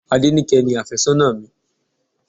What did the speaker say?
Adenike ni afésónà mi.